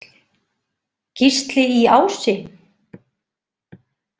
Gísli í Ási?